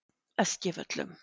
Eskivöllum